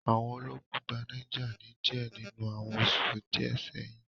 Àwọn ológun gba Niger ni díẹ̀ nínú àwọn oṣù díẹ̀ sẹ́hi